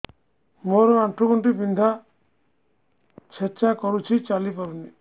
ମୋର ଆଣ୍ଠୁ ଗଣ୍ଠି ବିନ୍ଧା ଛେଚା କରୁଛି ଚାଲି ପାରୁନି